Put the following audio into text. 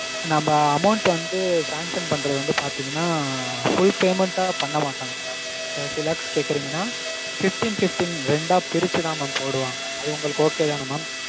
நாம்ம amount வந்து sanction பண்றது வந்து பாத்தீங்கனா full payment ஆ பண்ண மாட்டாங்க mam thirty lakhs கேக்கறீங்கனா fifteen fifteen ரெண்டா பிரிச்சுதா mam போடுவாங்க. அது உங்களுக்கு okay தான mam?